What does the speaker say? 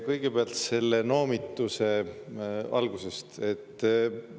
Kõigepealt algusest, sellest noomitusest.